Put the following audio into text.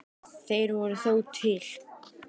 Þeir voru þó til.